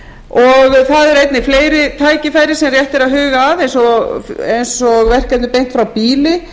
og það eru einnig fleiri tækifæri sem rétt er að huga að eins og verkefni beint frá býli